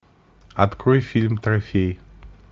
открой фильм трофей